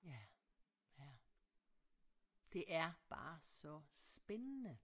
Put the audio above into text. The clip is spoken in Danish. Ja ja det er bare så spændende